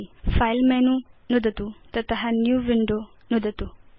file menu नुदतु तत new window नुदतु च